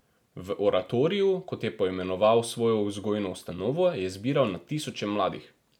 V oratoriju, kot je poimenoval svojo vzgojno ustanovo, je zbiral na tisoče mladih.